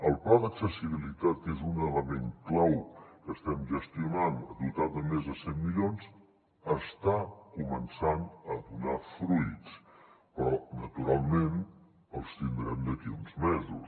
el pla d’accessibilitat que és un element clau que estem gestionant dotat de més de cent milions està començant a donar fruits però naturalment els tindrem d’aquí a uns mesos